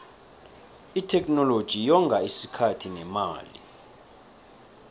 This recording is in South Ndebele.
itheknoloji yonga isikhathi nemali